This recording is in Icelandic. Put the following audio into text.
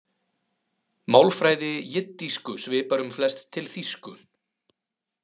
Málfræði jiddísku svipar um flest til þýsku.